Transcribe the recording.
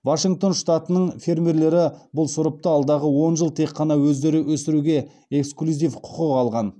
вашингтон штатының фермерлері бұл сұрыпты алдағы он жыл тек қана өздері өсіруге эксклюзив құқық алған